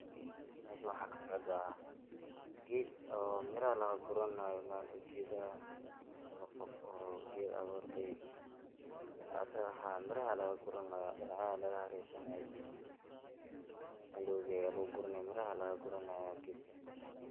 Meeshan waxa kasocda ged oo miraha lagaguranayo ama qof oo ged aburayo oo haa miraha aya lagaguranaya dinacyahay aya lgaharersanyahay andowga aya luguridaya miraha laguranayo.